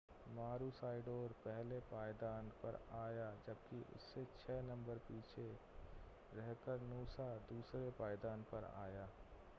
मारूसाइडोर पहले पायदान पर आया जबकि उससे छह नंबर पीछे रहकर नूसा दूसरे पायदान पर आया